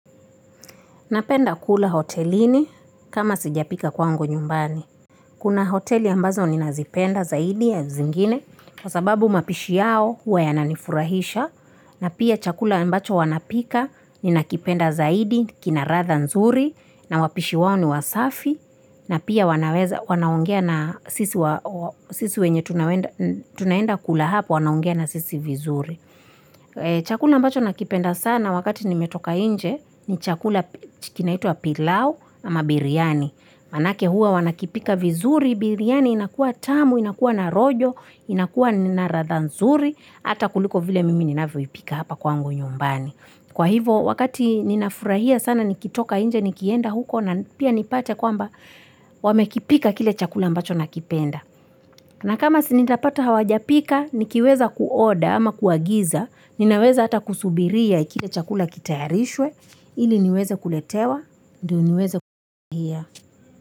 Napenda kula hotelini kama sijapika kwangu nyumbani. Kuna hoteli ambazo ni nazipenda zaidi ya zingine kwa sababu mapishi yao huwa ya nanifurahisha na pia chakula ambacho wanapika ni nakipenda zaidi kina ratha nzuri na wapishi wao ni wasafi na pia wanaweza wanaongea na sisi wenye tunaenda kula hapo anaongea na sisi vizuri. Chakula ambacho nakipenda sana wakati nimetoka nje ni chakula kinaitwa pilau ama biryani Manake huwa wanakipika vizuri, biryani inakuwa tamu, inakuwa narojo, inakuwa naradha nzuri Ata kuliko vile mimi ninavyoipika hapa kwa ngu nyumbani Kwa hivo wakati ninafurahia sana nikitoka nje nikienda huko na pia nipate kwamba wamekipika kile chakula mbacho nakipenda na kama sinitapata hawajapika, nikiweza kuoda ama kuagiza, ninaweza ata kusubiria kile chakula kitayarishwe, ili niweze kuletewa, ndio niweze kukuhia.